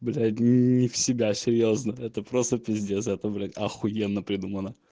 блять не в себя серьёзно это просто пиздец это блять ахуенно придумано